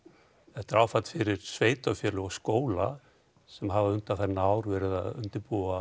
þetta er áfall fyrir sveitafélögin og skóla sem hafa undanfarið ár verið að undirbúa